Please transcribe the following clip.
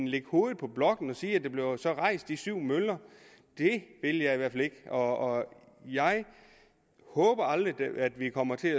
lægge hovedet på blokken og sige at der så bliver rejst de syv møller vil jeg i hvert fald ikke og jeg håber aldrig at vi kommer til